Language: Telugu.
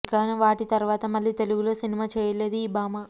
ఇక వాటి తర్వాత మళ్ళీ తెలుగులో సినిమా చేయలేదు ఈ భామ